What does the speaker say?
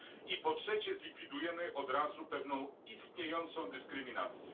I po trzecie, zlikwidujemy od razu pewną istniejącą dyskryminację.